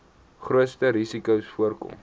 grootste risikos voorkom